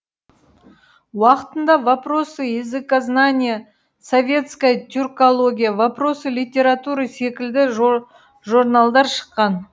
уақытында вопросы языкознания советская тюркология вопросы литературы секілді жорналдар шыққан